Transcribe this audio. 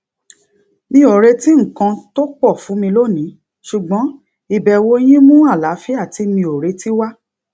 mi ò retí nǹkan tó pọ fún mi lónìí ṣùgbọn ìbẹwò yín mú àlàáfíà tí mi ò retí wá